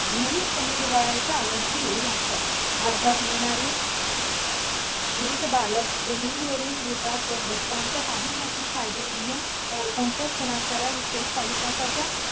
नियमितपणे व्हाय चा. आम्ही येऊ लागतात भारतात येणारी. स्वित बालक जमिनी वरूनही तातर बदकांच्या काही नाती Siberian बालकांच्या स्थलांतरा विषयी कालिदासा च्या